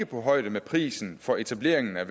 på højde med prisen for etableringen af